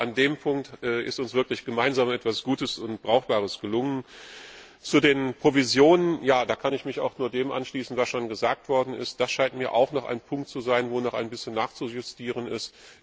Aber an dem Punkt ist uns wirklich gemeinsam etwas Gutes und Brauchbares gelungen. Zu den Provisionen Da kann ich mich auch nur dem anschließen, was schon gesagt worden ist. Das scheint mir auch noch ein Punkt zu sein, an dem noch ein bisschen nachzujustieren ist.